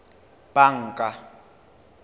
banka